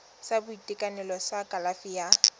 sa boitekanelo sa kalafi ya